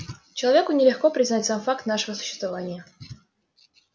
человеку нелегко признать сам факт нашего существования